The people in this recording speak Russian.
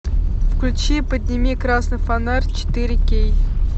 включи подними красный фонарь четыре кей